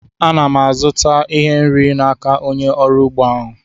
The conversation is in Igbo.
A na m azụta ihe nri n'aka onye ọrụ ugbo ahụ